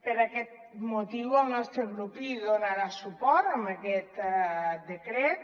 per aquest motiu el nostre grup donarà suport a aquest decret